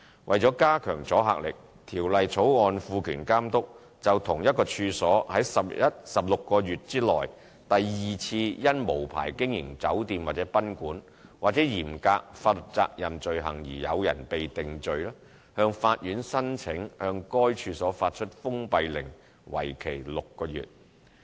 為了加強阻嚇力，《條例草案》賦權監督，就同一處所於16個月內第二次因無牌經營酒店或賓館，或嚴格法律責任罪行而有人被定罪，向法院申請向該處所發出封閉令，為期6個月。